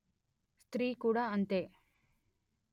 స్త్రీ కూడా అంతే